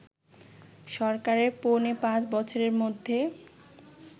সরকারের পৌনে পাঁচ বছরের মধ্যে